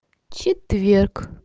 четверг